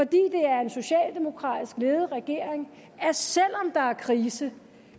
det er en socialdemokratisk ledet regering at selv om der er krise